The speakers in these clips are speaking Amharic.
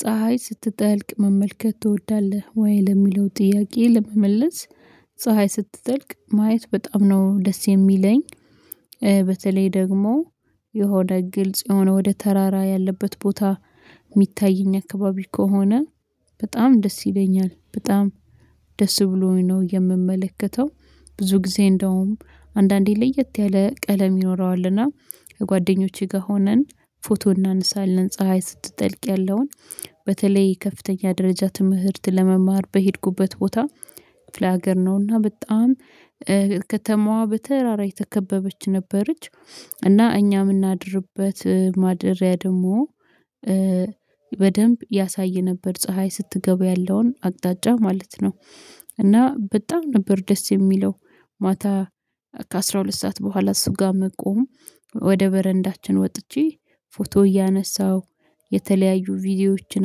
ፀሀይ ስትጠልቅ መመልከት ትወዳለህ ወይ ለሚለው ጥያቄ ለመመለስ? ፀሀይ ስትጠልቅ ማየት በጣም ነው ደስ የሚለኝ። በተለይ ደግሞ የሆነ ግልጽ የሆነ ወደ ተራራ ያለበት ቦታ የሚታየኝ አካባቢ ከሆነ በጣም ደስ ይለኛል በጣም ደስ ብሎኝ ነው የምመለከተው። ብዙ ጊዜ እንደውም አንዳንዴ ለየት ያለ ቀለም ይኖረዋልና ከጓደኞቼ ጋር ሆነን ፎቶ እናነሳለን ፀሀይ ስትጠልቅ ያለውን በተለይ ከፍተኛ ደረጃ ትምህርት ለመማር በሄድኩበት ቦታ ክፍለ ሀገር ነውና በጣም ከተማዋ በተራራ የተከበበች ነበረች። እና እኛ የምናድርበት ማደሪያ ደግሞ በደንብ ያሳይ ነበር ፀሀይ ስትገባ ያለውን አቅጣጫ ማለት ነው። እና በጣም ነበር ደስ የሚለው። ማታ ከአሥራ ሁለት ሰዓት በኋላ እሱ ጋር መቆም ወደ በረንዳችን ወጥቼ ፎቶ እያነሳሁ የተለያዩ ቪዲዮዎችን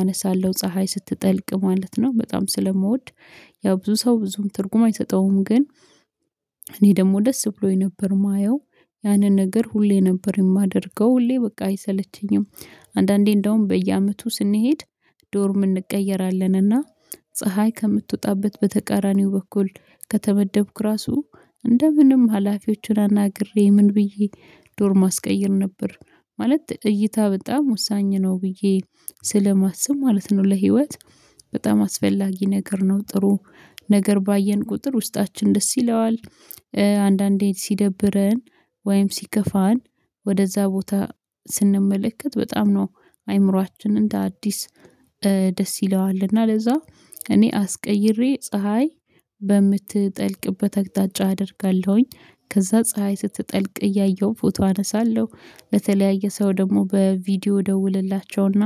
አነሳለሁ ፀሀይ ስትጠልቅ ማለት ነው በጣም ስለምወድ። ያው ብዙ ሰው ብዙም ትርጉም አይሰጠውም ግን እኔ ደግሞ ደስ ብሎኝ ነበር የማየው ያንን ነገር ሁሌ ነበር የማደርገው ሁሌ በቃ አይሰለቸኝም። አንዳንዴ እንደውም በየአመቱ ስንሄድ ዶርም እንቀየራለንና ፀሀይ ከምትወጣበት በተቃራኒው በኩል ከተመደብኩ ራሱ እንደ ምንም ሀላፊዎችን አናግሬ ምን ብዬ ዶርም አስቀየር ነበር ማለት እይታ በጣም ወሳኝ ነው ብዬ ስለማስብ ማለት ነው። ለህይወት በጣም አስፈላጊ ነገር ነው ጥሩ ነገር ባየን ቁጥር ውስጣችን ደስ ይለዋል። አንዳንዴ ሲደብረን ወይም ሲከፋን ወደዛ ቦታ ስንመለከት በጣም ነው አይምሮአችን እንደ አዲስ ደስ ይለዋል። እና ለዛ እኔ አስቀይሬ ፀሀይ በምትጠልቅበት አቅጣጫ አደርጋለሁኝ ከዛ ፀሀይ ስትጠልቅ እያየሁ ፎቶ አነሳለሁ። በተለያየ ሰው ደግሞ በቪዲዮ ደውልላቸውና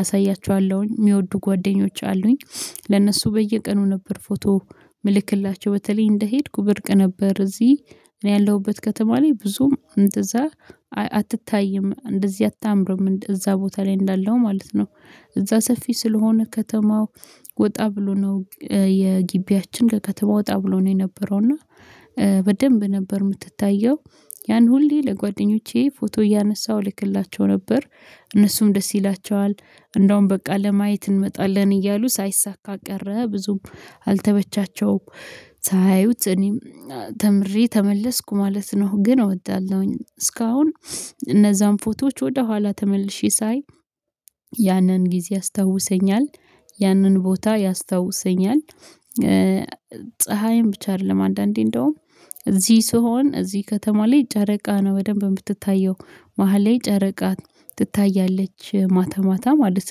አሳያችኋለሁኝ የሚወዱ ጓደኞች አሉኝ ለነሱ በየቀኑ ነበር ፎቶ ምልክላቸው በተለይ እንደሄድኩ ብርቅ ነበር እዚህ እኔ ያለሁበት ከተማ ላይ ብዙም እንደዛ አትታይም እንደዚህ አታምርም እዛ ቦታ ላይ እንዳለው ማለት ነው። እዛ ሰፊ ስለሆነ ከተማው ወጣ ብሎ ነው የጊቢያችን ከከተማ ወጣ ብሎ ነው የነበረው እና በደንብ ነበር የምትታየው ያን ሁሌ ለጓደኞቼ ፎቶ እያነሳሁ ልክላቸው ነበር እነሱም ደስ ይላቸዋል። እንደውም በቃ ለማየት እንመጣለን እያሉ ሳይሳካ ቀረ ብዙም አልተመቻቸውም ሳያዩት እኔም ተምሬ ተመለስኩ ማለት ነው። ግን እወዳለሁኝ እስካሁን እነዛን ፎቶዎች ወደ ኋላ ተመልሼ ሳይ ያንን ጊዜ ያስታውሰኛል ያንን ቦታ ያስታውሰኛል። ፀሀይን ብቻ አይደለም አንዳንዴ እንደውም እዚህ ስሆን እዚህ ከተማ ላይ ጨረቃ ነው በደንብ የምትታየው መሃል ላይ ጨረቃ ትታያለች ማታ ማታ ማለት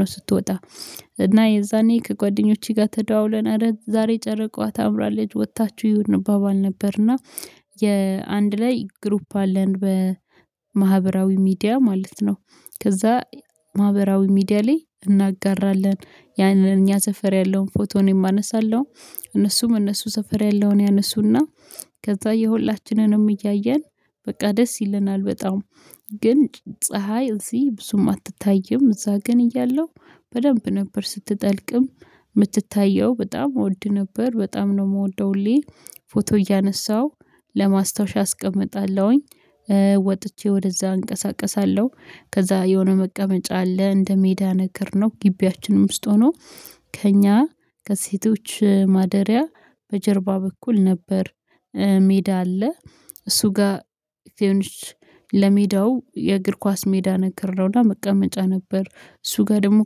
ነው። ስትወጣ እና የዛኔ ከጓደኞቼ ጋር ተደዋውለን አረ ዛሬ ጨረቃዋ ታምራለች ወጥታችሁ እዩ አንባባል ነበርና የአንድ ላይ ግሩፕ አለን በማህበራዊ ሚዲያ ማለት ነው። ከዛ ማህበራዊ ሚዲያ ላይ እናጋራለን ያንን እኛ ሰፈር ያለውን ፎቶ እኔም አነነሳለው እነሱም እነሱ ሰፈር ያለውን ያነሱና ከዛ የሁላችንንም እያየን በቃ ደስ ይለናል። በጣም ግን ፀሀይ እዚህ ብዙም አትታይም እዛ ግን እያለሁ በደንብ ነበር ስትጠልቅም ምትታየው በጣም እወድ ነበር በጣም ነው የምወደው ሁሌ ፎቶ እያነሳው ለማስታወሻ አስቀምጣለሁኝ። ወጥቼ ወደዛ አንቀሳቅሳለሁ ከዛ የሆነ መቀመጫ አለ እንደ ሜዳ ነገርነው ግቢያችን ውስጥ ሆኖ ከእኛ ከሴቶች ማደሪያ በጀርባ በኩል ነበር ሜዳ አለ እሱ ጋር እንዲሆንሽ ለሜዳው የእግር ኳስ ሜዳ ነገር ነውና መቀመጫ ነበር እሱ ጋር ደግሞ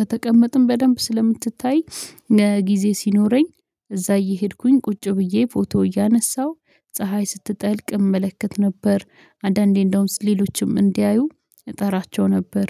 ከተቀመጥን በደንብ ስለምትታይ ጊዜ ሲኖረኝ እዛ እየሄድኩኝ ቁጭ ብዬ ፎቶ እያነሳሁ ፀሀይ ስትጠልቅ እመለከት ነበር። አንዳንዴ እንደውም ሌሎችም እንዲያዩ እጠራቸው ነበር